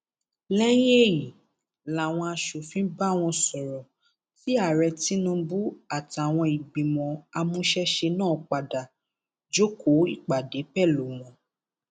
lẹyìn èyí làwọn aṣòfin bá wọn sọrọ tí ààrẹ tinubu àtàwọn ìgbìmọ amúṣẹṣe náà padà jókòó ìpàdé pẹlú wọn